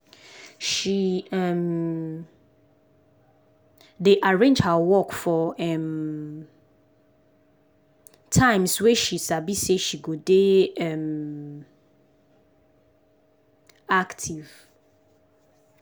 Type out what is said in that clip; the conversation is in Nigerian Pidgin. she um dey arrange her work for um times wey she sabi say she go dey um active